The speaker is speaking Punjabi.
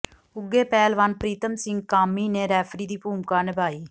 ਉੱਘੇ ਪਹਿਲਵਾਨ ਪ੍ਰੀਤਮ ਸਿੰਘ ਕਾਮੀ ਨੇ ਰੈਫਰੀ ਦੀ ਭੂਮਿਕਾ ਨਿਭਾਈ